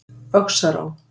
Öxará